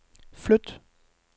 flyt